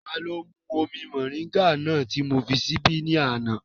Taló mú omi mọ̀ríńgà náà ti mó fi síbí ní àná?